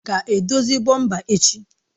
Ọ ga-edozi bọmpa echi?